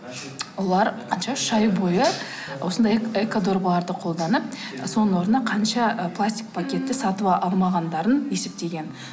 олар қанша үш ай бойы осындай экодорбаларды қолданып соның орнына қанша ы пластик пакетті сатып алмағандарын есептеген